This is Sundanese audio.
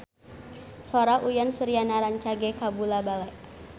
Sora Uyan Suryana rancage kabula-bale